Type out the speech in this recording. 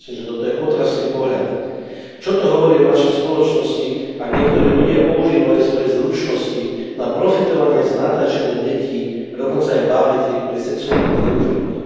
Toto je otrasný pohľad. Čo to hovorí o našej spoločnosti, ak niektorí ľudia používajú svoje zručnosti na profitovanie z natáčania detí, a dokonca aj bábätiek, pri sexuálnom zneužívaní.